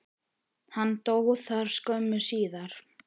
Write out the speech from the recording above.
Hann dó þar skömmu síðar.